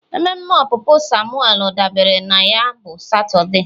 mmeme opupu Samuel dabara na ya bụ Satọde.